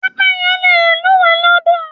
Pẹ́pẹ́yẹ le lúùwẹ́ lọ́dọ̀.